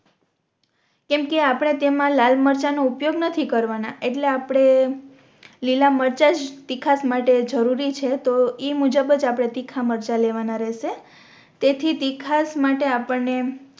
કેમ કે આપણે તેમા લાલ મરચાં નો ઉપયોગ નથી કરવાના એટલે આપણે લીલા મરચાં જ તીખાસ માટે જરૂરી છે તો ઇ મુજબ જ આપણે તીખા મરચાં લેવાના રહેશે તેથી તીખાસ માટે આપણને